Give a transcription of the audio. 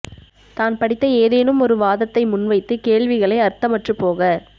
தான் படித்த ஏதேனும் ஒரு வாதத்தை முன் வைத்து கேள்விகளை அர்த்தமற்றுப்போக